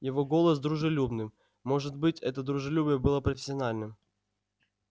его голос дружелюбным может быть это дружелюбие было профессиональным